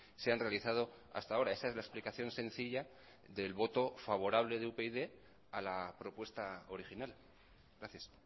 se han realizado hasta ahora esa es la explicación sencilla del voto favorable de upyd a la propuesta original gracias